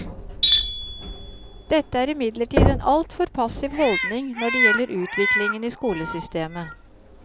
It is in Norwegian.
Dette er imidlertid en altfor passiv holdning når det gjelder utviklingen i skolesystemet.